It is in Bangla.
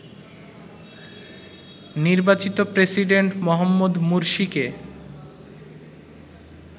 নির্বাচিত প্রেসিডেন্ট মোহাম্মদ মুরসিকে